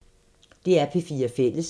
DR P4 Fælles